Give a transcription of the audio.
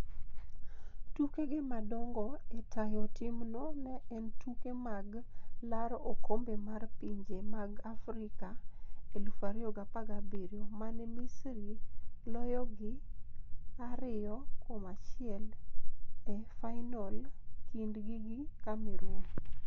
Tukege madongo e tayo timno ne en tuke mag laro okombe mar pinje mag Afrika 2017. mane Misri loyogi 2-1 e fainol kindgi gi Cameroon.